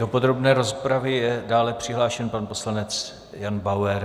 Do podrobné rozpravy je dále přihlášen pan poslanec Jan Bauer.